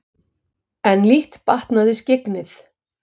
En lítt batnaði skyggnið.